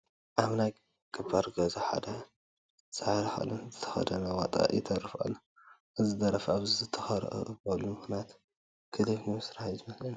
ኣብ ናይ ገባር ገዛ ሓደ ፃዕዳ ክዳን ዝተኸደነ ዋጣ ይደርፍ ኣሎ፡፡ እዚ ደራፊ ኣብዚ ዝተረኸበሉ ምኽንያት ክሊፕ ንምስራሕ እዩ ዝመስለኒ፡፡